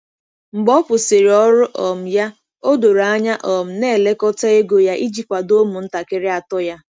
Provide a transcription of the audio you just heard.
Mgbe ọ kwụsịrị ọrụ um ya, o doro anya um na-elekọta ego ya iji kwado ụmụntakịrị atọ ya.